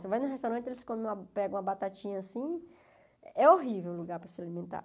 Você vai num restaurante e eles comem pegam uma batatinha assim, é horrível o lugar para se alimentar.